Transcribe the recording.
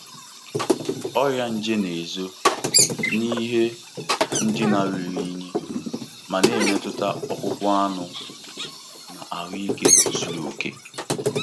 Ọrịa nje na-ezo n'ihe ndina ruru unyi ma na-emetụta akpụkpọ anụ na ahụike zuru oke.